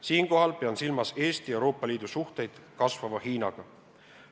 Siinkohal pean silmas Eesti ja Euroopa Liidu suhteid kasvava Hiinaga.